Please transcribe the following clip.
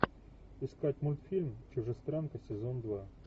искать мультфильм чужестранка сезон два